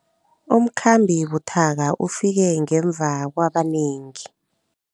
Umkhambi buthaka ufike ngemva kwabanengi.